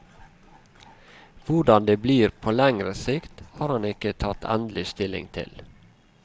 Hvordan det blir på lengre sikt, har han ikke tatt endelig stilling til.